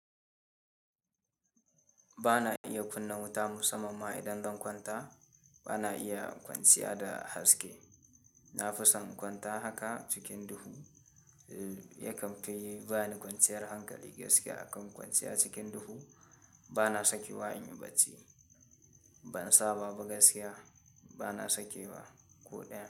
Bana iya kunna wuta musmman ma inzan kwanta bana iya kwanciya da haske na fi son in kwanta haka cikin duhu. Yakan fi ba ni kwanciyar hankali gaskiya akan kwanciya cikin duhu. Ba na sakewa inyi bacci. Ban saba ba gaskiya ba na sake wa ko ɗaya.